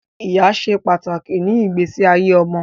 Ìyá ṣe pàtàkì ni igbese ayé ọmọ